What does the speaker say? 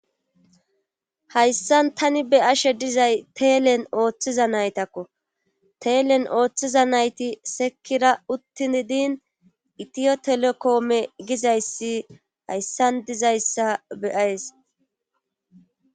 hayssan tani be ashe dizay teelen ooththiza naytakko teelen ooththiza nayti sekira uttin din itiyo telekoome gizayssi hayssan dizayssa beyays